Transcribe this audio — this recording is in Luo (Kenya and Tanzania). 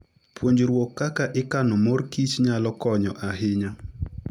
Puonjruok kaka ikano mor kich nyalo konyo ahinya.